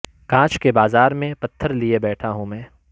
کانچ کے بازار میں پتھر لئے بیٹھا ہوں میں